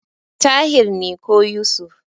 Tahir ne ko Yusuf.